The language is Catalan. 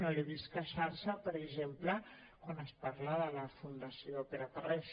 no l’he vist queixar·se per exemple quan es parla de la fundació pere tarrés